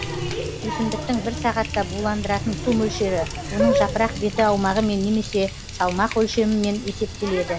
өсімдіктің бір сағатта буландыратын су мөлшері оның жапырақ беті аумағымен немесе салмақ өлшемімен есептеледі